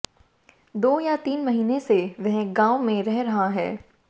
दो या तीन महीने से वह गांव में रह रहा है